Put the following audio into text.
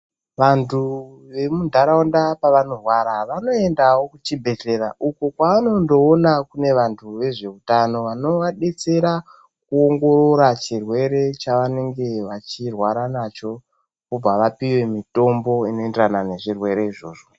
Vandu vemundaraunda pavanorwara, vanoenda kuzvibhedhlera uko kwavanondoona kune vantu vezvehutano vanobatsira kuongorora chirwere chavanenge vachirwara nacho. Vobva vapiwa mitombo inoenderana nezvirwere izvozvo.